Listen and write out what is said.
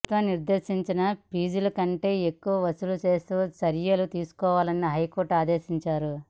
ప్రభుత్వం నిర్ధేశించిన ఫీజుల కంటె ఎక్కువ వసూలు చేస్తే చర్యలు తీసుకోవాలని హైకోర్టు ఆదేశించింది